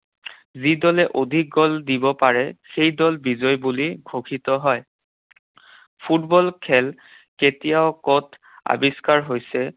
যি দলে অধিক গ'ল দিব পাৰে, সেই দল বিজয়ী বুলি ঘোষিত হয়। ফুটবল খেল কেতিয়াও ক'ত আৱিষ্কাৰ হৈছে